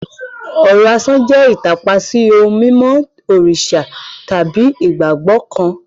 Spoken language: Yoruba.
Ọ̀rọ̀ asán jẹ́ ìtàpá sí ohun mímọ́ òrìṣà tàbí ìgbàgbọ́ kan.